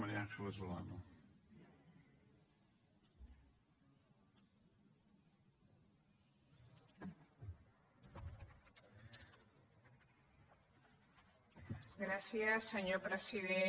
gràcies senyor president